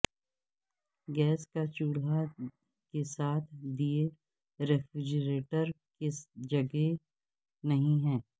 gas کا چولہا کے ساتھ دیئے ریفریجریٹر کی جگہ نہیں ہے